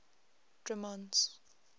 drummond's